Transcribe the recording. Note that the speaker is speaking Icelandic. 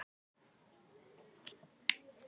Birta, hringdu í Hólmdísi eftir áttatíu mínútur.